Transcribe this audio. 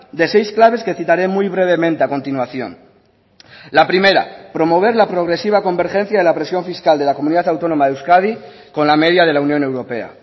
de seis claves que citare muy brevemente a continuación la primera promover la progresiva convergencia de la presión fiscal de la comunidad autónoma de euskadi con la media de la unión europea